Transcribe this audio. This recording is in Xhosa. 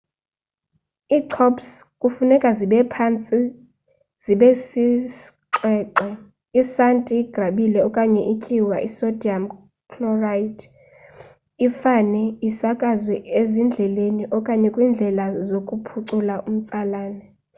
iichops funeke zibephantsi zibesixwexwe. isanti igrabile okanye ityiwa isodiyam khlorhayidi ifane isakazwe ezindleleni okanye kwindlela zokuphucula umtsalane